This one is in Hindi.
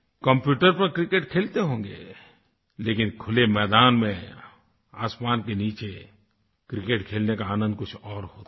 कम्प्यूटर पर क्रिकेट खेलते होंगे लेकिन खुले मैदान में आसमान के नीचे क्रिकेट खेलने का आनंद कुछ और होता है